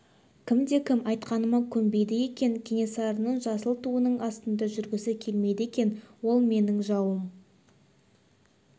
кімде-кім айтқаныма көнбейді екен кенесарының жасыл туының астында жүргісі келмейді екен ол менің жауым